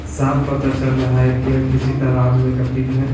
साफ पता चल रहा है कि यह किसी तालाब में है।